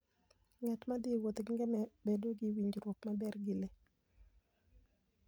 Ng'at ma thi e wuoth gi ngamia bedo gi winjruok maber gi le.